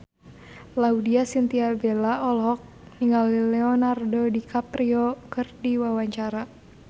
Laudya Chintya Bella olohok ningali Leonardo DiCaprio keur diwawancara